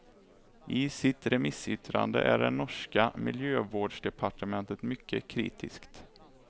I sitt remissyttrande är det norska miljövårdsdepartementet mycket kritiskt.